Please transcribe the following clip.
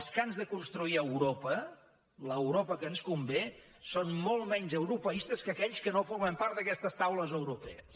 els que han de construir europa l’europa que ens convé són molt menys europeistes que aquells que no formem part d’aquestes taules europees